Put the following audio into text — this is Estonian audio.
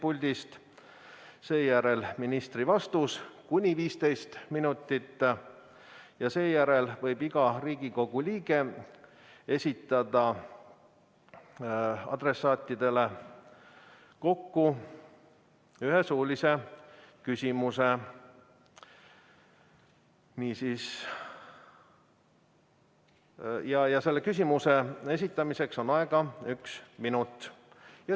Sellele järgneb ministri vastus, kuni 15 minutit, ja pärast seda võib iga Riigikogu liige esitada adressaatidele ühe suulise küsimuse, mille esitamiseks on aega üks minut.